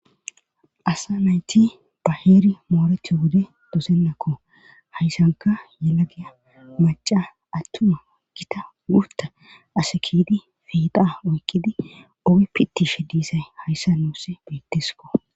asa nayti ba heeray moorethi wode dosennakko hayssanka yelagiya maca attuma gita wurta ase kiyydi fiiqa oykkidi ogi pitishe diisay hayssa nuus beettiskko